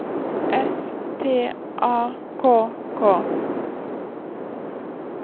S T A K K